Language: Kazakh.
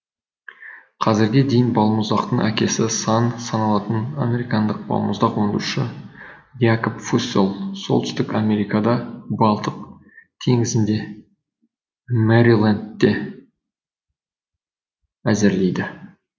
қазірге дейін балмұздақтың әкесі саналатын американдық балмұздақ өндіруші якоб фусселл солтүстік америкада балтық теңізінде мэрилендте әзірлейді